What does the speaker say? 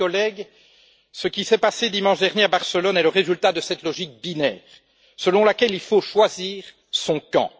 Chers collègues, ce qui s'est passé dimanche dernier à Barcelone est le résultat de cette logique binaire, selon laquelle il faut choisir son camp.